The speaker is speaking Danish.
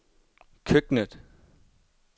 køkkenet